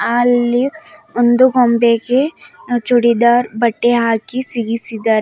ಅಲ್ಲಿ ಒಂದು ಗೊಂಬೆಗೆ ಚೂಡಿದಾರ್ ಬಟ್ಟೆ ಹಾಕಿ ಸಿಗಿಸಿದ್ದಾರೆ.